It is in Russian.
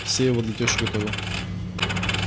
все его для тёщи готовил